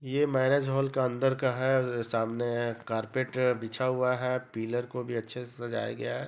यह marriage hall का अंदर का है और सामने कारपेट बिछा हुआ है पिलर को भि अच्छे सजाया गया है।